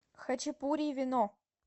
хачапури и вино